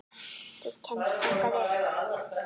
Þú kemst þangað upp.